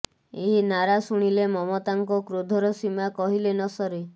ଏହି ନାରା ଶୁଣିଲେ ମମତାଙ୍କ କ୍ରୋଧର ସୀମା କହିଲେ ନସରେ